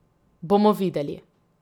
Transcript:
Bomo videli.